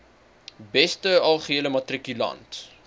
beste algehele matrikulant